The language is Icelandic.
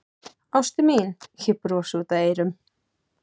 Ástin mín, ég brosi út að eyrum.